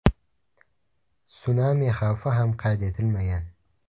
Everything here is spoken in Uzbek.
Sunami xavfi ham qayd etilmagan.